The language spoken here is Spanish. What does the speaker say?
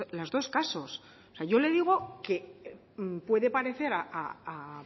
los dos casos o sea yo le digo que puede parecer a